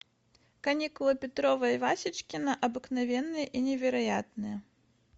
каникулы петрова и васечкина обыкновенные и невероятные